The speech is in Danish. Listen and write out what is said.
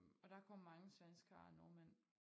Og der kom mange svenskere og nordmænd